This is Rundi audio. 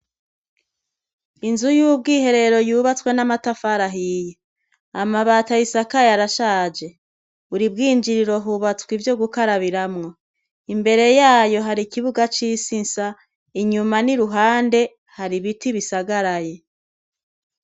Inzu y'ubwiherero yubatswe n'amatafari ahiye. Amabati ayisakaye arashaje. Buri bwinjiriro hubatswe ivyo gukarabiramwo. Imbere yayo hari ikibuga c'isi nsa, inyuma n'iruhande hari ibiti bisagaraye.